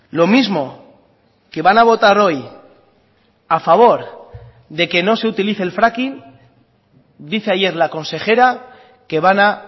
lo mismo que van a votar hoy a favor de que no se utilice el fracking dice ayer la consejera que van a